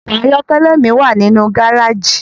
Ọkọ ayọkẹlẹ mi wa ninu gareji